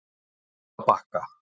Holtabakka